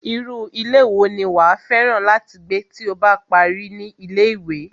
Irú ilé wo ni wàá fẹ́ràn láti gbé tí o bá parí ní ilé-ìwé?